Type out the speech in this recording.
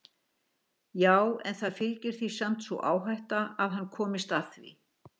Já en það fylgir því samt sú áhætta að hann komist að því.